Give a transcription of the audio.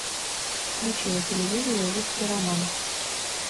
включи на телевизоре русский роман